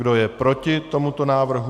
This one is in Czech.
Kdo je proti tomuto návrhu?